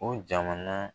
O jamana